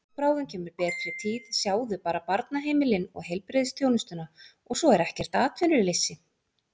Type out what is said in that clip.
Og bráðum kemur betri tíð, sjáðu bara barnaheimilin og heilbrigðisþjónustuna og svo er ekkert atvinnuleysi.